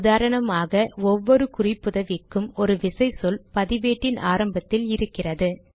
உதாரணமாக ஒவ்வொரு குறிப்புதவிக்கும் ஒரு விசைச்சொல் பதிவேட்டின் ஆரம்பத்தில் இருக்கிறது